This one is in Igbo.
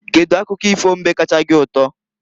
Kedu akụkọ ifo mbe kacha gị ụtọ?